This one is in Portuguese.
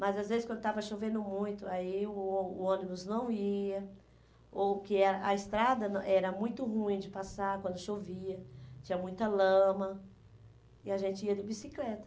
Mas às vezes quando estava chovendo muito, aí o ô o ônibus não ia, ou que a a estrada era muito ruim de passar quando chovia, tinha muita lama, e a gente ia de bicicleta.